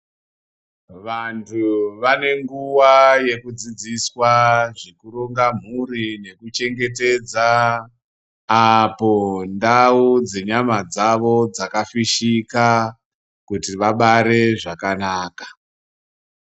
Vantu vane nguva yekudzidziswa zvekuronga muri nekuchengetedza apo ndau dzenyama dzavo dzakafishika kuti vabare zvakanaka.